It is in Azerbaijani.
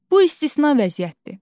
Bu istisna vəziyyətdir.